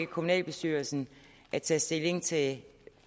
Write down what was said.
kommunalbestyrelsen at tage stilling til